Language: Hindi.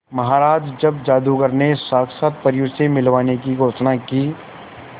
महाराज जब जादूगर ने साक्षात परियों से मिलवाने की घोषणा की